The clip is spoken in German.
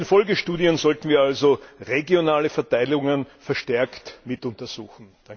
In den Folgestudien sollten wir also regionale Verteilungen verstärkt mit untersuchen.